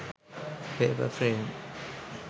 paper frame